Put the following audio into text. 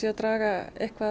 að draga